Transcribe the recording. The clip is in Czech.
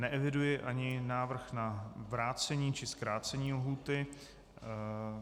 Neeviduji ani návrh na vrácení či zkrácení lhůty.